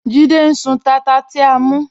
Jídẹ̀ ń sún tátà ti à mú.